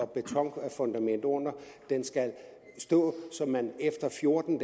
betonfundament under den skal stå så man efter fjorten